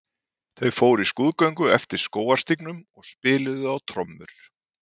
Þau fóru í skrúðgöngu eftir skógarstígnum og spiluðu á trommur.